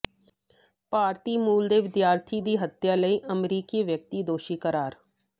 ਭਾਰਤੀ ਮੂਲ ਦੇ ਵਿਦਿਆਰਥੀ ਦੀ ਹੱਤਿਆ ਲਈ ਅਮਰੀਕੀ ਵਿਅਕਤੀ ਦੋਸ਼ੀ ਕਰਾਰ